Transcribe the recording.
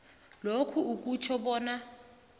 lokhu akutjho bona